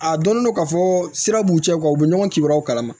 A donnen don ka fɔ sira b'u cɛ u bɛ ɲɔgɔn kibaruyaw kalama